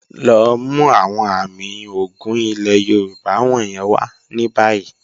Lọ mú awọn àmì ògún ilẹ̀ Yorùbá wọ̀nyẹn wà ní báyì.